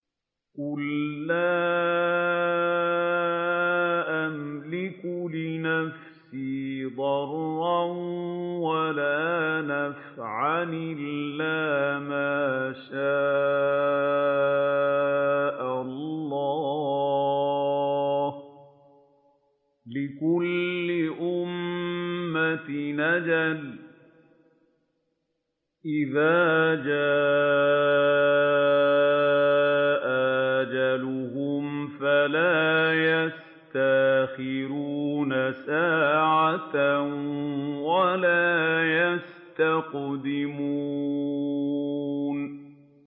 قُل لَّا أَمْلِكُ لِنَفْسِي ضَرًّا وَلَا نَفْعًا إِلَّا مَا شَاءَ اللَّهُ ۗ لِكُلِّ أُمَّةٍ أَجَلٌ ۚ إِذَا جَاءَ أَجَلُهُمْ فَلَا يَسْتَأْخِرُونَ سَاعَةً ۖ وَلَا يَسْتَقْدِمُونَ